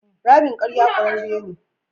Ramin ƙarya ƙurarre ne.